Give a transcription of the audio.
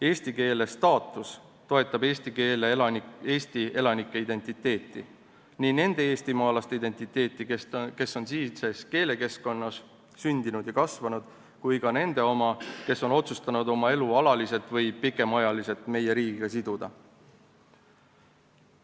Eesti keele staatus toetab Eesti elanike identiteeti – nii nende eestimaalaste identiteeti, kes on siinses keelekeskkonnas sündinud ja kasvanud, kui ka nende oma, kes on otsustanud oma elu alaliselt või pikemaajaliselt meie riigiga siduda.